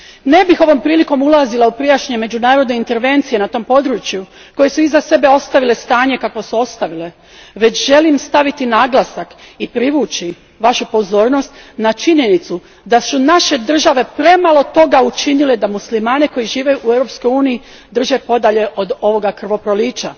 Ne bih ovo prilikom ulazila u prijašnje međunarodne intervencije na tom području koje su iza sebe ostavile stanje kakvo su ostavile, već želim staviti naglasak i privući vašu pozornost na činjenicu da su naše države premalo toga učinile da muslimane koji žive u Europskoj uniji drže podalje od ovoga krvoprolića.